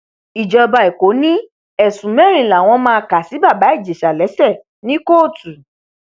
ìjọba ẹkọ ní ẹsùn mẹrin làwọn máa kà sí bàbá ìjẹsà lẹsẹ ní kóòtù